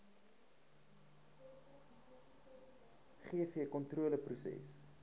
gvkontroleproses